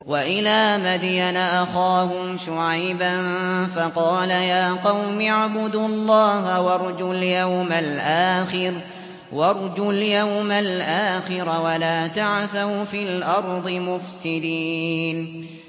وَإِلَىٰ مَدْيَنَ أَخَاهُمْ شُعَيْبًا فَقَالَ يَا قَوْمِ اعْبُدُوا اللَّهَ وَارْجُوا الْيَوْمَ الْآخِرَ وَلَا تَعْثَوْا فِي الْأَرْضِ مُفْسِدِينَ